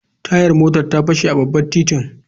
Tayar motar ta fashe a babban titin.